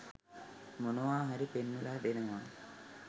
මොනවා හරි පෙන්වල දෙනවා